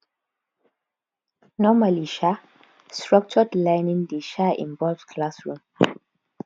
normally um structured learning dey um involve classroom